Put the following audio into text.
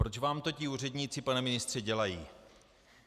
Proč vám to ti úředníci, pane ministře, dělají?